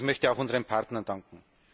Ich möchte auch unseren Partnern danken.